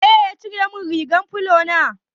Waye ya cire min rigar filo na?